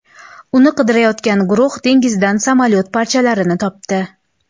Uni qidirayotgan guruh dengizdan samolyot parchalarini topdi.